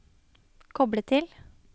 koble til